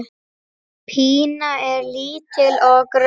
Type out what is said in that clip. Pína er lítil og grönn.